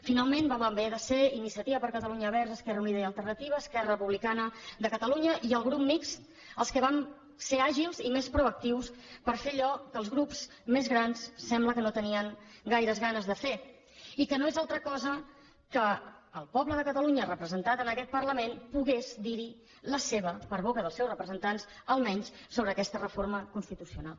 finalment vam haver de ser iniciativa per catalunya verds esquerra unida i alternativa esquerra republicana de catalunya i el grup mixt els que vam ser àgils i més proactius per fer allò que els grups més grans sembla que no tenien gaire ganes de fer i que no és altra cosa que el poble de catalunya representat en aquest parlament pogués dir hi la seva per boca dels seus representants almenys sobre aquesta reforma constitucional